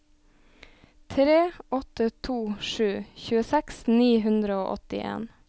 tre åtte to sju tjueseks ni hundre og åttien